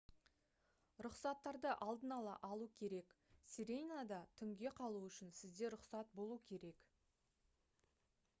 рұқсаттарды алдын ала алу керек сиренада түнге қалу үшін сізде рұқсат болуы керек